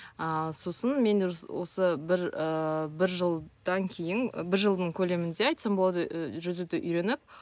ал сосын мен осы бір ыыы бір жылдан кейін бір жылдың көлемінде айтсам болады ы жүзуді үйреніп